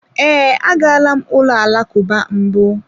Ee, agala m ụlọ alakụba mbụ.